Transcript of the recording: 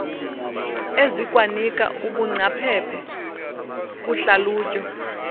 ezikwanika ubungcaphephe kuhlalutyo